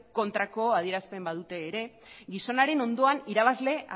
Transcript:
kontrako adierazten badute ere gizonaren ondoan irabazle